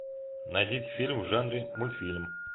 найдите фильм в жанре мультфильм